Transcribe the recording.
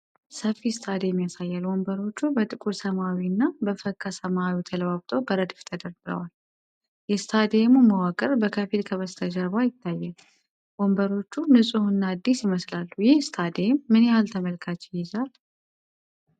ሰፊ ስታዲየም ያሳያል። ወንበሮቹ በጥቁር ሰማያዊ እና በፈካ ሰማያዊ ተለዋውጠው በረድፍ ተደርድረዋል። የስታዲየሙ መዋቅር በከፊል ከበስተጀርባ ይታያል። ወንበሮቹ ንፁህና አዲስ ይመስላሉ። ይህ ስታዲየም ምን ያህል ተመልካች ይይዛል?